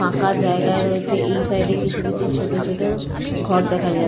ফাঁকা জায়গা রয়েছে এই সাইডে কিছু ছোট ছোট ঘর দেখা যাচ্ছে।